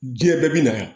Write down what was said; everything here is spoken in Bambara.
Diɲɛ bɛɛ bi na